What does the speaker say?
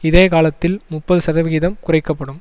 இதே காலத்தில் முப்பது சதவிகிதம் குறைக்க படும்